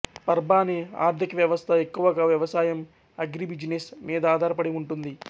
పర్భాని ఆర్ధికవ్యవస్థ ఎక్కువగా వ్యవసాయం అగ్రిబిజినెస్ మీద ఆధారపడి ఉంటుంది